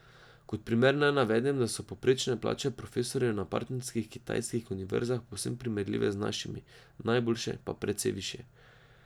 Kot primer naj navedem, da so povprečne plače profesorjev na partnerskih kitajskih univerzah povsem primerljive z našimi, najboljše pa precej višje.